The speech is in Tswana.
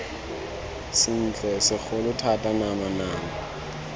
sentle segolo thata nama nama